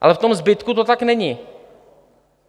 Ale v tom zbytku to tak není.